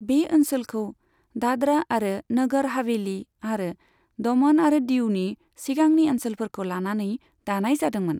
बे ओनसोलखौ दाद्रा आरो नगर हावेली आरो दमन आरो दीउनि सिगांनि ओनसोलफोरखौ लानानै दानाय जादोंमोन।